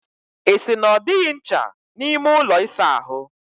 Ị sị na ọ dịghị ncha n'ime ụlọ ịsa ahụ?